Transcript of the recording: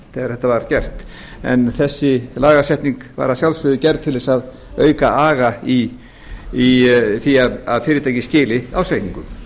þetta var gert en þessi lagasetning var að sjálfsögðu gerð til þess að auka aga í því að fyrirtæki skili ársreikningum